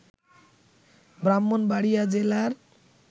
ব্রাহ্মণবাড়িয়া জেলার